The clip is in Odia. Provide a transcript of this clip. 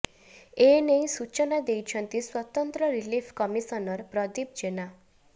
ଏ ନେଇ ସୂଚନା ଦେଇଛନ୍ତି ସ୍ୱତନ୍ତ୍ର ରିଲିଫ୍ କମିଶନର ପ୍ରଦୀପ ଜେନା